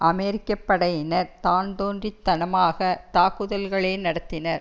அமெரிக்க படையினர் தான்தோன்றித்தனமாக தாக்குதல்களை நடத்தினர்